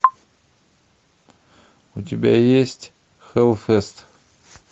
у тебя есть хеллфест